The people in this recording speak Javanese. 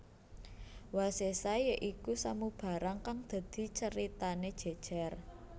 Wasésa ya iku samubarang kang dadi caritane jejer